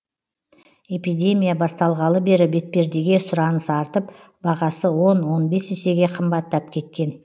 эпидемия басталғалы бері бетпердеге сұраныс артып бағасы он он бес есеге қымбаттап кеткен